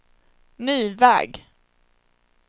ny väg